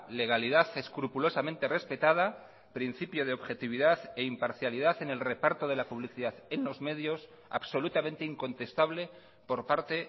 legalidad escrupulosamente respetada principio de objetividad e imparcialidad en el reparto de la publicidad en los medios absolutamente incontestable por parte